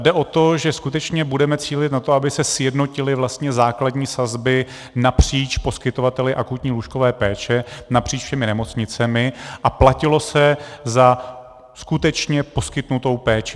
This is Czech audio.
Jde o to, že skutečně budeme cílit na to, aby se sjednotily vlastně základní sazby napříč poskytovateli akutní lůžkové péče napříč všemi nemocnicemi a platilo se za skutečně poskytnutou péči.